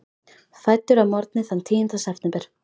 Fæddur að morgni þann tíunda september.